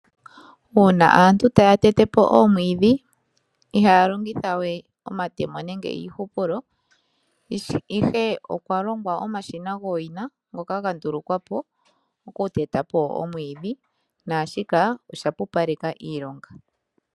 Uuna aantu taya tete po oomwiidhi ihaya longitha we omatemo nenge iihupulo, ihe okwa longwa omashina gowina ngoka ga ndulukwa po okuteta po omwiidhi. Naashika osha pupaleka iilonga.